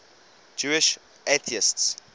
jewish atheists